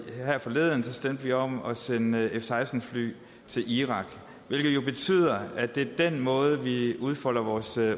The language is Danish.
her forleden stemte vi om at sende f seksten fly til irak hvilket jo betyder at det er den måde vi udfolder vores